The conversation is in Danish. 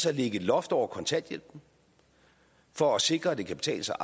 at lægge et loft over kontanthjælpen for at sikre at det kan betale sig